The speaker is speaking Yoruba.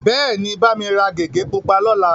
Bẹ́ẹ̀ni, bá mi ra gègé pupa lọ́la.